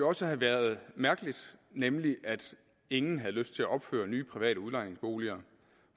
også have været mærkeligt nemlig at ingen havde lyst til at opføre nye private udlejningsboliger